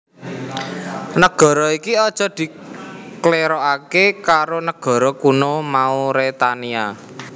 Nagara iki aja diklèrokaké karo nagara kuno Mauretania